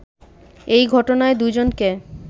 এই ঘটনায় দুজনকে